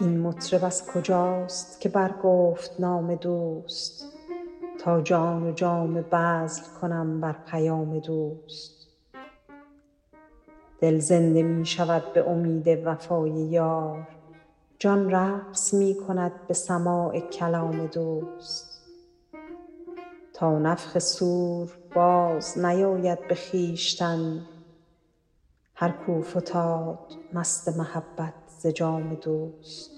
این مطرب از کجاست که برگفت نام دوست تا جان و جامه بذل کنم بر پیام دوست دل زنده می شود به امید وفای یار جان رقص می کند به سماع کلام دوست تا نفخ صور بازنیاید به خویشتن هر کاو فتاد مست محبت ز جام دوست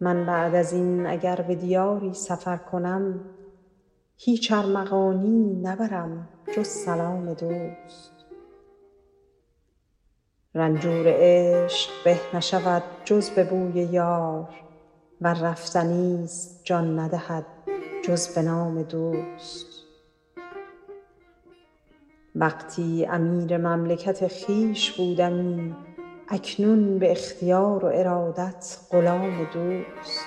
من بعد از این اگر به دیاری سفر کنم هیچ ارمغانیی نبرم جز سلام دوست رنجور عشق به نشود جز به بوی یار ور رفتنی ست جان ندهد جز به نام دوست وقتی امیر مملکت خویش بودمی اکنون به اختیار و ارادت غلام دوست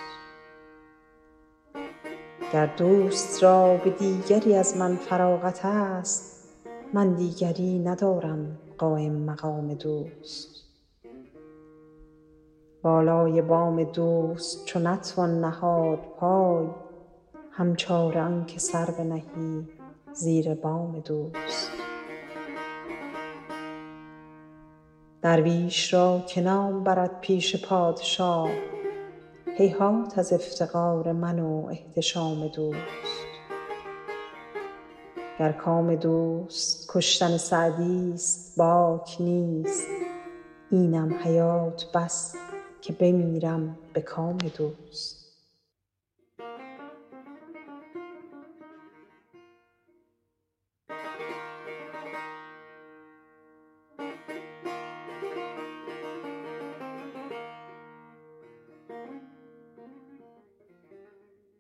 گر دوست را به دیگری از من فراغت ست من دیگری ندارم قایم مقام دوست بالای بام دوست چو نتوان نهاد پای هم چاره آن که سر بنهی زیر بام دوست درویش را که نام برد پیش پادشاه هیهات از افتقار من و احتشام دوست گر کام دوست کشتن سعدی ست باک نیست اینم حیات بس که بمیرم به کام دوست